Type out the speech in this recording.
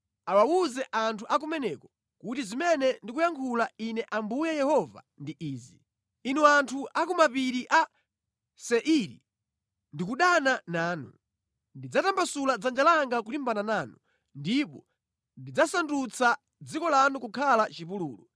awawuze anthu a kumeneko kuti zimene ndikuyankhula Ine Ambuye Yehova ndi izi: Inu anthu a ku mapiri a Seiri ndikudana nanu. Ndidzatambasula dzanja langa kulimbana nanu, ndipo ndidzasandutsa dziko lanu kukhala chipululu.